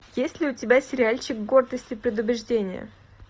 есть ли у тебя сериальчик гордость и предубеждение